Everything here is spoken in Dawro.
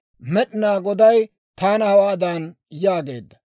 Med'inaa Goday taana hawaadan yaageedda;